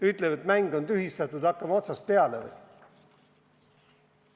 Ütleme, et mäng on tühistatud, ja hakkame otsast peale või?